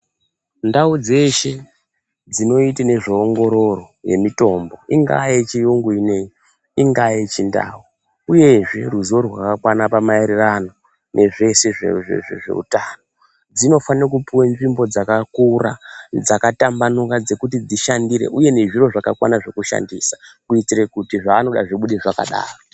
Ndau dzeshe dzinoite nezve ongororo yemitombo, ingaa yechiyungu inoyi, ingaa yechindau, uyehe ruzivo rwakakwana maererano nezvese zveutano, dzinofane kupiwe nzvimbo dzakakura dzakatambanuka dzekushandira uye nezviro zvakakwana zvekushandisa kuite kuti zveanoda zvibude zvakadaro.